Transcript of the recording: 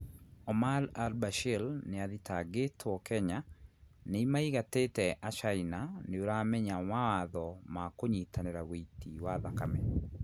Omar Al Bashir niathitagitwo Kenya niimaigatete Achaina Niuramenya mawatho ma kunyitanira wiiti wa thakame?